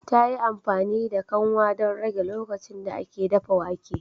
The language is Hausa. Ta yi amfani da kanwa don rage lokacin da ake dafa wake